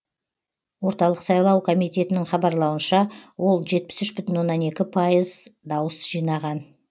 орталық сайлау комитетінің хабарлауынша ол жетпіс үш бүтін оннан екі пайыз дауыс жинаған